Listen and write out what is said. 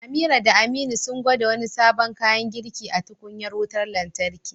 Amira da Aminu sun gwada wani sabon kayan girki a tukunyar wutar lantarki.